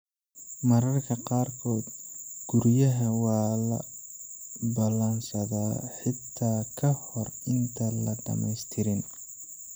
Mararka qaarkood guryaha waa la ballansadaa xitaa ka hor intaan la dhamaystirin.